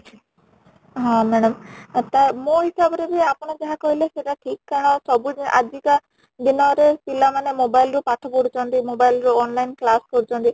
ହଁ madam ତ ମୋ ହିସାବ ରେ ବି ଆପଣ ଯାହା କହିଲେ ସେଇଟା ଠିକ କାରଣ ସବୁ ଆଜିକା ଦିନରେ ପିଲା ମାନେ mobile ରୁ ପାଠ ପଢୁ ଛନ୍ତି mobile ରୁ online class କରୁଛନ୍ତି